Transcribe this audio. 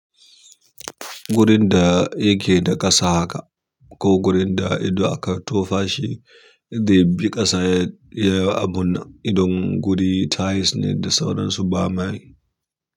Gurin da yake da ƙasa haka, ko gurin da ido aka tofa shi, ze bi ƙasa ya abu nan idan guri tiles ne da sauran su ba mai.